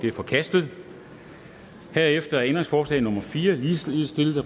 er forkastet herefter er ændringsforslag nummer fire ligeledes stillet af